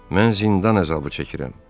Mən zindan əzabı çəkirəm.